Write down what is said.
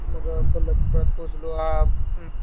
मग कोल्हापुरात पोहोचलो आ,